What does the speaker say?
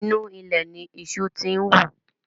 Inú ilẹ̀ ni iṣu ti ń wù